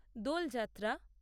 দোল যাত্রা